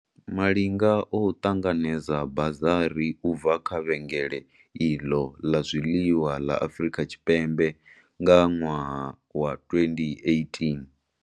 Malinga o ṱanganedza bazari u bva kha vhengele iḽo ḽa zwiḽiwa ḽa Afrika Tshipembe nga ṅwaha wa 2018.